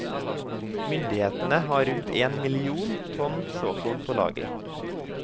Myndighetene har rundt én million tonn såkorn på lager.